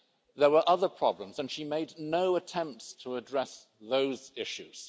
There were other problems and she made no attempts to address those issues.